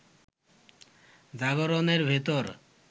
জাগরণের ভেতর